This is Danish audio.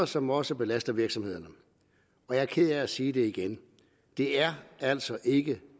som også belaster virksomhederne jeg er ked af at sige det igen det er altså ikke